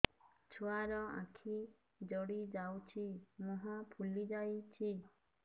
ଛୁଆର ଆଖି ଜଡ଼ି ଯାଉଛି ମୁହଁ ଫୁଲି ଯାଇଛି